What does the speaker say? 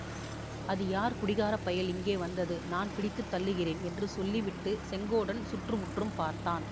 அது யார் குடிகாரப்பயல் இங்கே வந்தது நான் பிடித்து தள்ளுகிறேன் என்று சொல்லிவிட்டுச் செங்கோடன் சுற்று முற்றும் பார்த்தான்